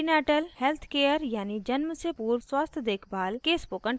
prenatal health care यानि जन्म से पूर्व स्वास्थ देखभाल के spoken tutorial में आपका स्वागत है